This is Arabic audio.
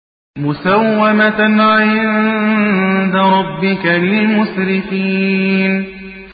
مُّسَوَّمَةً عِندَ رَبِّكَ لِلْمُسْرِفِينَ